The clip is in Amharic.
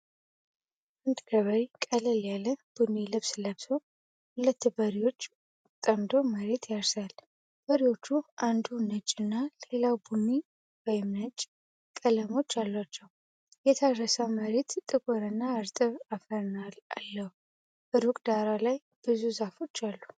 አንድ ገበሬ ቀለል ያለ ቡኒ ልብስ ለብሶ ሁለት በሬዎች ጠምዶ መሬት ያርሳል። በሬዎቹ አንዱ ነጭና ሌላው ቡኒ/ነጭ ቀለሞች አሏቸው። የታረሰው መሬት ጥቁርና እርጥብ አፈር አለው። ሩቅ ዳራ ላይ ብዙ ዛፎች አሉ።